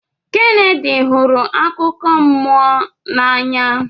Kennedy hụrụ akụkọ mmụọ n'anya